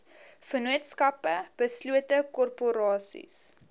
vennootskappe beslote korporasies